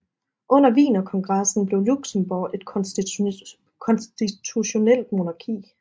Under Wienerkongressen blev Luxembourg et konstitutionelt monarki